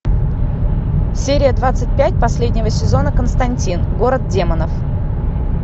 серия двадцать пять последнего сезона константин город демонов